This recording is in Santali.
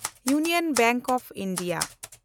union Bank of India